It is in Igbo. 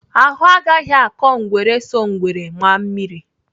Ahụ agaghị akọ ngwere so ngwere maa mmiri!